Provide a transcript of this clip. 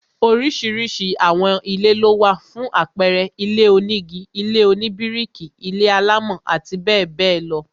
Oríṣiríṣi àwọn ilé lówà, fún àpẹẹrẹ, ilé onígi, ilé oníbíríkì, ilé-alámọ̀ àti bẹẹ bẹẹ lọ